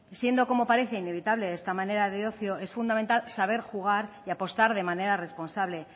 siendo como parece inevitable esta manera de ocio es fundamental saber jugar y apostar de manera responsable